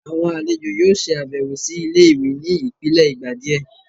awọn alejo yóò ṣabẹwo si ìlé-ìwé ní ipilẹ ìgbà diẹ